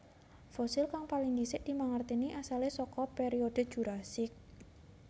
Fosil kang paling dhisik dimangertèni asalé saka periode Jurasik